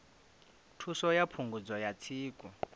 thuso ya phungudzo ya tsiku